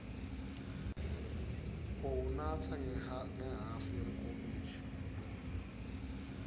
uwunatsa ngehhafu yenkomishi